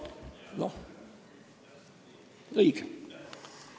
Noh, õige!